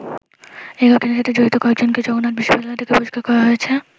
এই ঘটনার সাথে জড়িত কয়েকজনকে জগন্নাথ বিশ্ববিদ্যালয় থেকে বহিষ্কার করা হয়েছে।